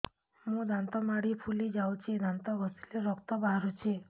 ମୋ ଦାନ୍ତ ମାଢି ଫୁଲି ଯାଉଛି ଦାନ୍ତ ଘଷିଲେ ରକ୍ତ ବାହାରୁଛି